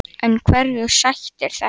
En hverju sætir þetta?